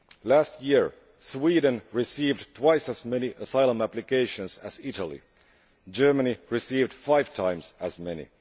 Last year, Sweden received twice as many asylum applications as Italy. Germany received five times as many.